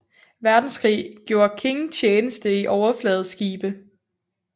Verdenskrig gjorde King tjeneste i overfladeskibe